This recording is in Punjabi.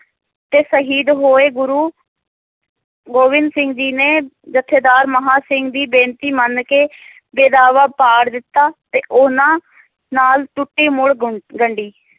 ਤੇ ਸ਼ਹੀਦ ਹੋਏ ਗੁਰੂ ਗੋਬਿੰਦ ਸਿੰਘ ਜੀ ਨੇ ਜਥੇਦਾਰ ਮਹਾ ਸਿੰਘ ਦੀ ਬੇਨਤੀ ਮੰਨ ਕੇ ਬੇਦਾਵਾ ਪਾੜ ਦਿੱਤਾ ਤੇ ਉਹਨਾਂ ਨਾਲ ਟੁੱਟੀ ਮੁੱਲ ਗੁਨ~ ਗੰਢੀ